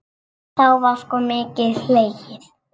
Þá var sko mikið hlegið.